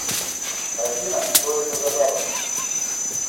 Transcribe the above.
афина что это за запах